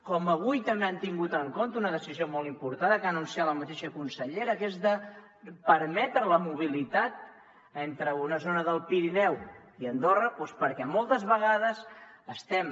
com avui també han tingut en compte una decisió molt important que ha anunciat la mateixa consellera que és permetre la mobilitat entre una zona del pirineu i andorra perquè moltes vegades estem